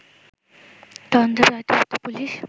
তদন্তের দায়িত্বপ্রাপ্ত পুলিশ